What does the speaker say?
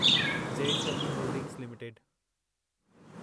JSW holdings limited